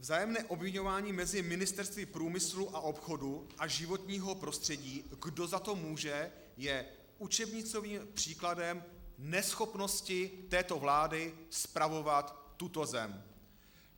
Vzájemné obviňování mezi ministerstvy průmyslu a obchodu a životního prostředí, kdo za to může, je učebnicovým příkladem neschopnosti této vlády spravovat tuto zem.